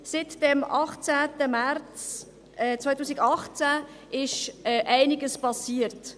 Seit dem 18. März 2018 ist einiges passiert.